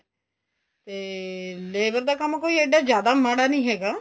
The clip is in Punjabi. ਤੇ labor ਦਾ ਕੰਮ ਕੋਈ ਇੱਡਾ ਜਿਆਦਾ ਮਾੜਾ ਨਹੀਂ ਹੈਗਾ